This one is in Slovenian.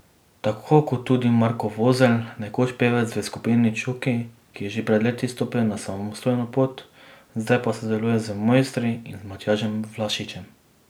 Tako kot tudi Marko Vozelj, nekoč pevec v skupini Čuki, ki je že pred leti stopil na samostojno pot, zdaj pa sodeluje z Mojstri in Matjažem Vlašičem.